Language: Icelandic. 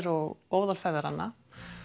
og óðali feðranna